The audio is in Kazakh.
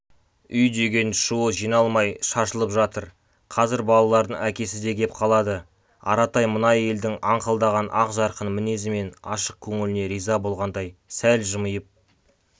үй деген шуы жиналмай шашылып жатыр қазір балалардың әкесі де кеп қалады аратай мына әйелдің аңқылдаған ақ жарқын мінезі мен ашық көңіліне риза болғандай сәл жымиып